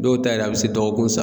Dɔw ta yɛrɛ a bɛ se dɔgɔkun sa